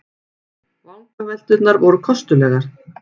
Vangavelturnar voru kostulegar.